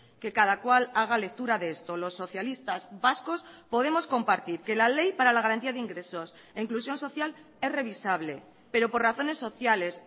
que cada cual haga lectura de esto los socialistas vascos podemos compartir que la ley para la garantía de ingresos e inclusión social es revisable pero por razones sociales